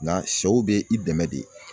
Nga sɛw bɛ i dɛmɛ de